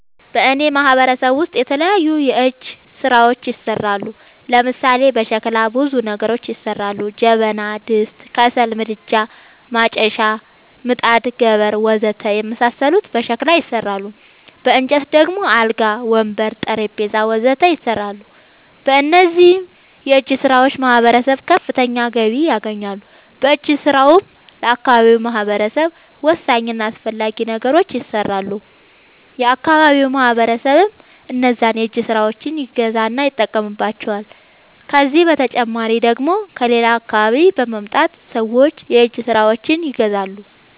በእኔ ማህበረሰብ ውስጥ የተለያዩ የእጅ ስራዎች ይሠራሉ። ለምሳሌ፦ በሸክላ ብዙ ነገሮች ይሠራሉ። ጀበና፣ ድስት፣ ከሰል ምድጃ፣ ማጨሻ፣ ምጣድ፣ ገበር... ወዘተ የመሣሠሉት በሸክላ ይሠራሉ። በእንጨት ደግሞ አልጋ፣ ወንበር፣ ጠረንጴዛ..... ወዘተ ይሠራሉ። በእነዚህም የእጅስራዎች ማህበረሰቡ ከፍተኛ ገቢ ያገኛል። በእጅ ስራውም ለአካባቢው ማህበረሰብ ወሳኝ እና አስፈላጊ ነገሮች ይሠራሉ። የአካባቢው ማህበረሰብም እነዛን የእጅ ስራዎች ይገዛና ይጠቀምባቸዋል። ከዚህ በተጨማሪ ደግሞ ከሌላ አካባቢ በመምጣት ሠዎች የእጅ ስራዎቸችን ይገዛሉ።